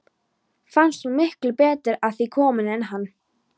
Fannst hún miklu betur að því komin en hann.